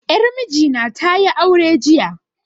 Yar miji na tayi aure jiya